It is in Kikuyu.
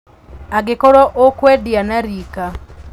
Angĩkorwo ũkũendia na rika